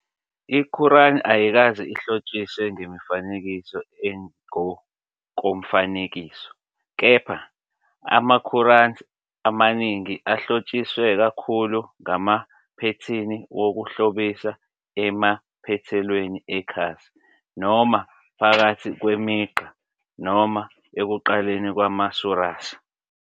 I-Quran ayikaze ihlotshiswe ngemifanekiso engokomfanekiso, kepha ama-Qurans amaningi ahlotshiswe kakhulu ngamaphethini wokuhlobisa emaphethelweni ekhasi, noma phakathi kwemigqa noma ekuqaleni kwama-suras.